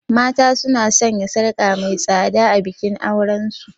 Mata suna sanya sarka mai tsada a bikin auren su.